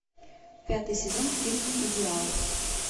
пятый сезон фильм идеал